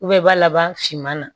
i b'a laban finma na